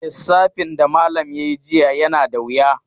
Lissafin da malam ya yi jiya yana da wuya.